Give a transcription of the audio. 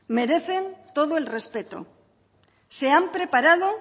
merecen todo el respeto se han preparado